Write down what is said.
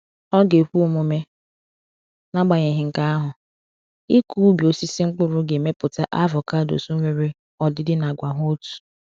Ọ ga-ekwe omume, n’agbanyeghị nke ahụ, ịkụ ubi osisi mkpụrụ ga-emepụta avocados nwere ọdịdị na àgwà hà otu.